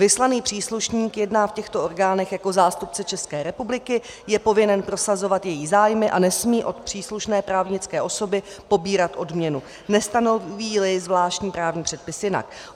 Vyslaný příslušník jedná v těchto orgánech jako zástupce České republiky, je povinen prosazovat její zájmy a nesmí od příslušné právnické osoby pobírat odměnu, nestanoví-li zvláštní právní předpis jinak.